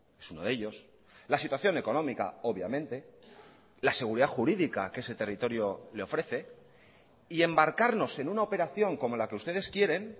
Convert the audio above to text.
es uno de ellos la situación económica obviamente la seguridad jurídica que ese territorio le ofrece y embarcarnos en una operación como la que ustedes quieren